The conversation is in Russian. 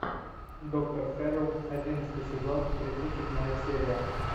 доктор хэрроу одиннадцатый сезон тридцать седьмая серия